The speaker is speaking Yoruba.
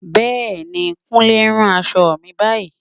Bẹ́ẹ̀ni, Kúnlé ń rán aṣọ mi báyìí